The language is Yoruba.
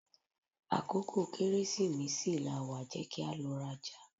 Akókò Kẹ́rẹ́sìmesì lawà, jẹ́ kí a lọ rajà!